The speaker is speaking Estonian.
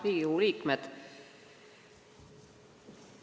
Riigikogu liikmed!